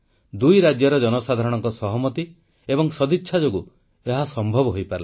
ଦୁଇ ରାଜ୍ୟର ଜନସାଧାରଣଙ୍କ ସହମତ ଏବଂ ସଦିଚ୍ଛା ଯୋଗୁଁ ଏହା ସମ୍ଭବ ହୋଇପାରିଲା